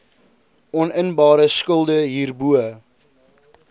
oninbare skulde hierbo